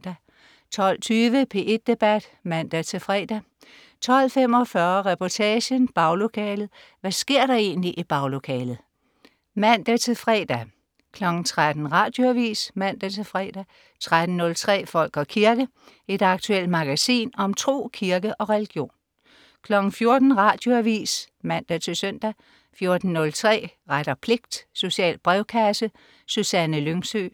12.20 P1 Debat (man-fre) 12.45 Reportagen. Baglokalet. Hvad sker der egentlig i baglokalet? (man-fre) 13.00 Radioavis (man-fre) 13.03 Folk og kirke. Et aktuelt magasin om tro, kirke og religion 14.00 Radioavis (man-søn) 14.03 Ret og pligt. Social brevkasse. Susanne Lyngsø